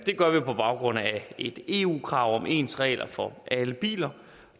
det gør vi på baggrund af et eu krav om ens regler for alle biler